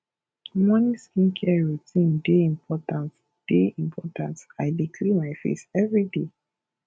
morning skincare routine dey important dey important i dey clean my face every day